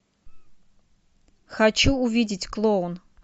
хочу увидеть клоун